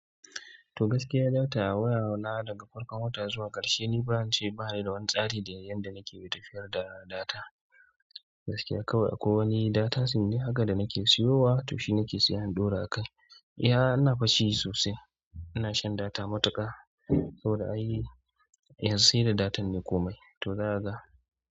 To gaskiya data a waya na daga farkon wata zuwa ƙarshe ni ban ce bani da wani tsari da yanda nake dafiyar da data. Gaskiya kawai akwai wani data sub ne haka da muke sayowa to shi muke seya mu ɗaura akai gaskiya ina fashi sosai ina shan data matuƙa saboda ai yanzu sai da data ne komai to zaka ga.